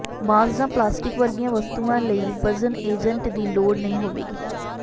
ਬਾਂਸ ਜਾਂ ਪਲਾਸਟਿਕ ਵਰਗੀਆਂ ਵਸਤੂਆਂ ਲਈ ਵਜ਼ਨ ਏਜੰਟ ਦੀ ਲੋੜ ਨਹੀਂ ਹੋਵੇਗੀ